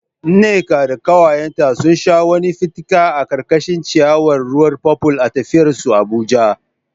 Nneka da kawayenta sun sha wani fitika a karkashin ciyawar ruwan purple a tafiyar su Abuja.